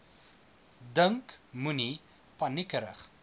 dink moenie paniekerig